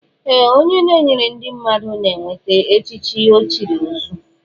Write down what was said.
Ee, onye na enyere ndị mmadụ na enweta echichi ochiri ọzuọ